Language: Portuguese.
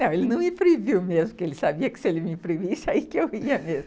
Não, ele não me proibiu mesmo, porque ele sabia que se ele me proibisse, aí que eu ia mesmo.